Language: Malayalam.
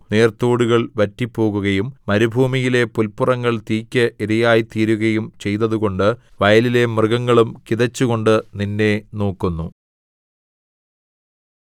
നീർത്തോടുകൾ വറ്റിപ്പോകുകയും മരുഭൂമിയിലെ പുല്പുറങ്ങൾ തീയ്ക്ക് ഇരയായിത്തീരുകയും ചെയ്തതുകൊണ്ട് വയലിലെ മൃഗങ്ങളും കിതച്ചുകൊണ്ട് നിന്നെ നോക്കുന്നു